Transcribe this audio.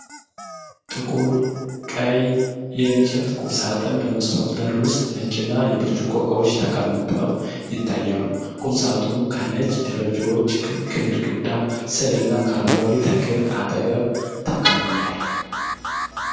ጥቁር ቀይ የእንጨት ቁምሳጥን በመስታወት በር ውስጥ ነጭና የብርጭቆ እቃዎች ተቀምጠው ይታያል። ቁምሳጥኑ ከነጭ ደረጃዎች፣ ከግድግዳ ስዕልና ከአረንጓዴ ተክል አጠገብ ተቀምጧል።